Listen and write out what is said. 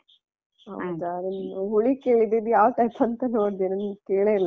ಹೌದಾ ನಂಗೆ ಹುಳಿ ಕೇಳಿದಿದು ಇದು ಯಾವ type ಅಂತ ನೋಡ್ದೆ ನಾನ್ ಕೇಳ್ಳೆಲಿಲ್ಲ.